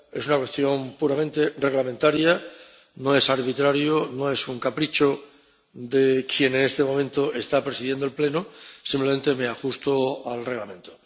Es una cuestión puramente reglamentaria, no es arbitrario, no es un capricho de quien en este momento está presidiendo el Pleno, simplemente me ajusto al Reglamento.